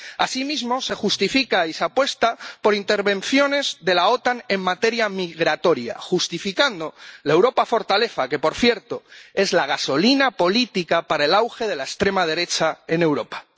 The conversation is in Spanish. Asimismo se justifica y se apuesta por intervenciones de la OTAN en materia migratoria, justificando la Europa fortaleza, que, por cierto, es la gasolina política para el auge de la extrema derecha en Europa.